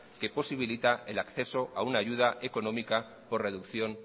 que posibilita el acceso a una ayuda económica por reducción